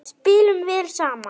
Spilum vel saman.